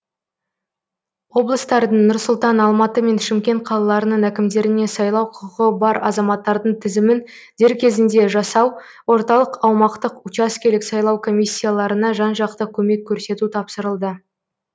облыстардың нұр сұлтан алматы мен шымкент қалаларының әкімдеріне сайлау құқығы бар азаматтардың тізімін дер кезінде жасау орталық аумақтық учаскелік сайлау комиссияларына жан жақты көмек көрсету тапсырылды